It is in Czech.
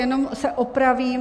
Jenom se opravím.